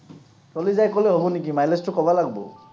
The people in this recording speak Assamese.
চলি যায় ক’লে হ’ব নিকি। mileage টো ক’ব লাগব।